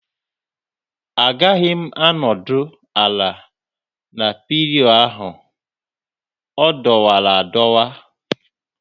Agaghị m anọdụ ala na pillion ahụ, ọ dọwara adọwa